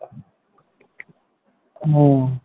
হম